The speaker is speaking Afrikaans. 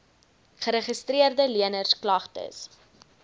geregistreede leners klagtes